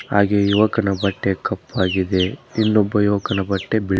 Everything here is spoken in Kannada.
ಹಾಗೆ ಯುವಕನ ಬಟ್ಟೆ ಕಪ್ಪಾಗಿದೆ ಇನ್ನೊಬ್ಬ ಯುವಕನ ಬಟ್ಟೆ ಬೀಳ್--